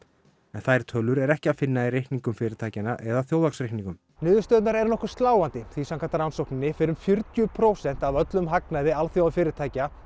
en þær tölur er ekki að finna í reikningum fyrirtækjanna eða þjóðhagsreikningum niðurstöðurnar eru nokkuð sláandi því samkvæmt rannsókninni eru um fjörutíu prósent af öllum hagnaði alþjóðafyrirtækja